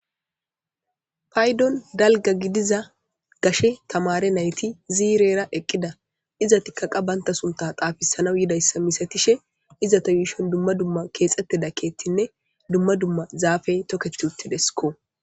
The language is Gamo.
paydon dalga gidiza gashe tamare nayti ziirera eqqida iza tikkaqa banta sunta xaafisanaw yidayssa misatishe iza ta yuushon dumma dumma keexxetteda ketinne dumma dumma zaafey toketuttidesko